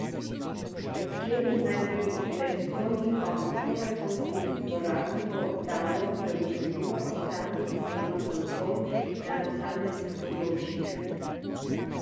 Slednje naj bi predstojnikom proračunskih uporabnikov dalo zagotovilo o stanju sistema kontrol na posameznih področjih.